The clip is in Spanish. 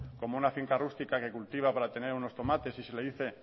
como una finca rústica que cultiva para tener unos tomates y si le dice